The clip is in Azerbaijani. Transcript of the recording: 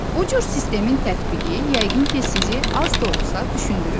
Bu cür sistemin tətbiqi yəqin ki, sizi az da olsa düşündürüb.